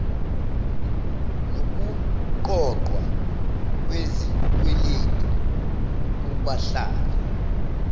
nokuqoqwa kwezikweletu kubahlali